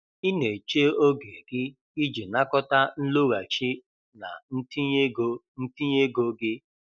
Ị na-eche oge gị iji nakọta nloghachi na ntinye ego ntinye ego gị